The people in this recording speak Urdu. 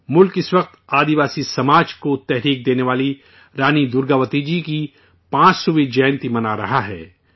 ملک اس وقت آدیواسی سماج کو حوصلہ بخشنے والی رانی درگاوتی جی کی 500ویں جینتی منا رہا ہے